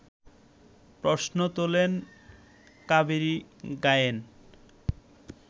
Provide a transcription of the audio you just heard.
প্রশ্ন তোলেন কাবেরী গায়েন